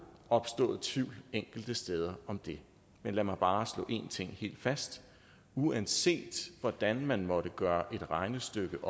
opstået tvivl enkelte steder om det men lad mig bare slå en ting helt fast uanset hvordan man måtte gøre et regnestykke